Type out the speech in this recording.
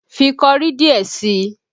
Fi kọrí díẹ̀ sí i!